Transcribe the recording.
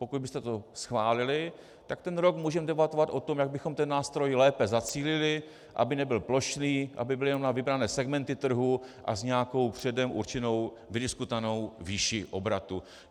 Pokud byste to schválili, tak ten rok můžeme debatovat o tom, jak bychom ten nástroj lépe zacílili, aby nebyl plošný, aby byl jenom na vybrané segmenty trhu a s nějakou předem určenou vydiskutovanou výší obratu.